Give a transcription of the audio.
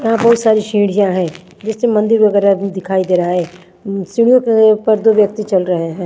यहां बहुत सारी सीढ़िया हैं जिसमें मंदिर वगैरह भी दिखाई दे रहा हैं उं सीढ़ीओ के ऊपर दो व्यक्ति चल रहे हैं।